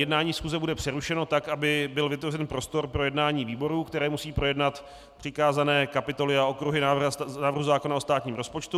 Jednání schůze bude přerušeno tak, aby byl vytvořen prostor pro jednání výborů, které musí projednat přikázané kapitoly a okruhy návrhu zákona o státním rozpočtu.